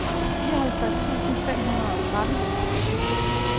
fireoghalvtreds tusind fem hundrede og tretten